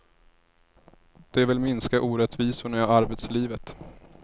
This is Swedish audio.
De vill minska orättvisorna i arbetslivet.